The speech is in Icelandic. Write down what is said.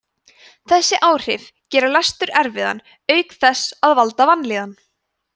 þessi áhrif gera lestur erfiðan auk þess að valda vanlíðan